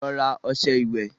Lọ rà ọṣẹ ìwẹ̀